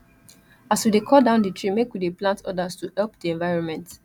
as we dy cut down di tree make we dey plant odas to help di evironment